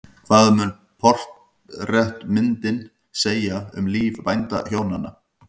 Hvað mun portrettmyndin segja um líf bændahjónanna?